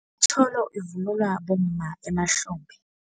Itjholo ivunulwa bomma emahlombe.